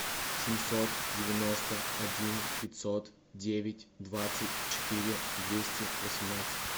семьсот девяносто один пятьсот девять двадцать четыре двести восемнадцать